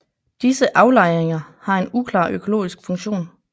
Disse aflejringer har en uklar økologisk funktion